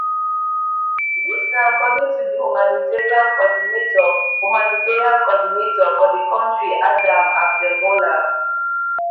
This na according to the humanitarian coordinator humanitarian coordinator for the county adam abdelmoula